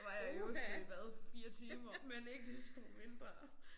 Var jeg i Oslo i hvad 4 timer men ikke desto mindre